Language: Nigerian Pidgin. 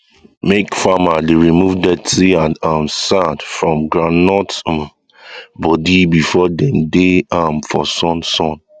make farmer dey remove dirty and um sand from um groundnut um body before them dey am for sun sun